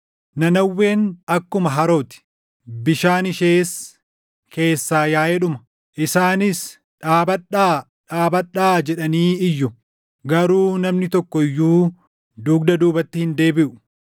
Nanawween akkuma haroo ti; bishaan ishees keessaa yaaʼee dhuma. Isaanis, “Dhaabadhaa! Dhaabadhaa!” jedhanii iyyu; garuu namni tokko iyyuu dugda duubatti hin deebiʼu.